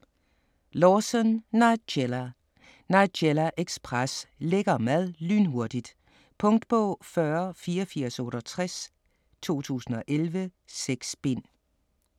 Lawson, Nigella: Nigella ekspres: lækker mad lynhurtigt Punktbog 408468 2011. 6 bind.